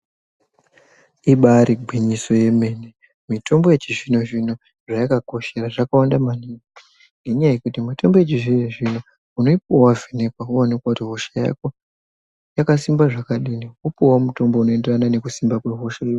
Ibari gwinyiso yemene mitombo yechizvino zvino zvayakakoshera zvakawanda maningi, ngenyaya yekuti mitombi yechizvino zvino unoipuwa wavhenekwa waonekwa kuti hosha yako yakasimba zvakadini wopuwawo mutombo unoenderana nekusimba kwehosha iyoyo.